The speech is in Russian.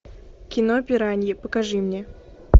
кино пираньи покажи мне